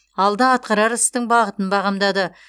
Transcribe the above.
алда атқарар істің бағытын бағамдады